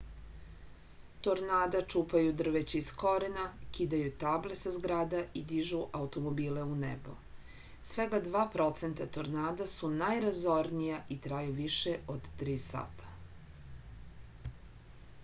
tornada čupaju drveće iz korena kidaju table sa zgrada i dižu automobile u nebo svega dva procenta tornada su najrazornija i traju više od tri sata